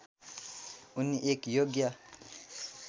उनी एक योग्य